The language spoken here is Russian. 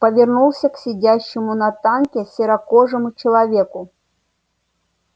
повернулся к сидящему на танке серокожему человеку